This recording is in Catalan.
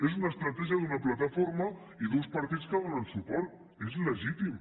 és una estratègia d’una plataforma i d’uns partits que hi donen suport és legítim